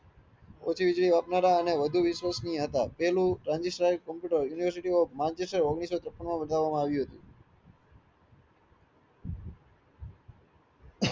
આપનારા અને વધુ વિશ્વસનીય હતા પેલું transistile computer university of menchester ઓગણીસો છાપાં માં બતાવામાં આવ્યું હતું